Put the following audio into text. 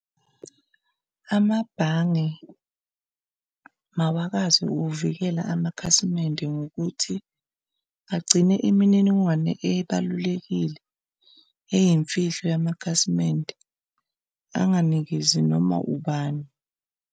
Amabhange mawakazi uvikela amakhasimende ngokuthi agcine imininingwane ebalulekile eyimfihlo yamakhasimende, anganikezi noma ubani.